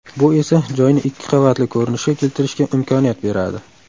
Bu esa joyni ikki qavatli ko‘rinishga keltirishga imkoniyat beradi.